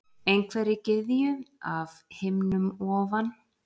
Einhverri gyðju af himnum ofan?